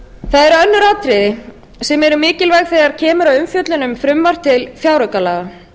það eru önnur atriði sem eru mikilvæg þegar kemur að umfjölluð um frumvarp til fjáraukalaga